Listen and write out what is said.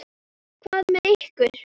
Hvað með ykkur?